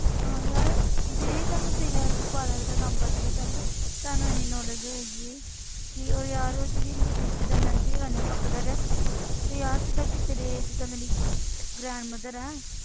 ਹਾਂ ਯਾਰ ਵਾਲਾਂ ਦਾ ਕੰਮ ਕਰਦੇ ਸੀ ਪਹਿਲੇ ਤੁਹਾਨੂੰ ਇੰਨੀ knowledge ਹੋਏਗੀ ਕਿ ਉਹ ਯਾਰ ਉਹ ਜਿਹੜੀ ਜਿੱਦਾਂ ਮਹਿੰਦੀ ਲਗਾਉਂਦੇ ਹਾਂ ਆਪਾਂ colour ਤੇ ਯਾਰ ਜਿੱਦਾਂ ਕਿ ਤੇਰੇ ਜਿੱਦਾਂ ਮੇਰੀ grandmother ਹੈ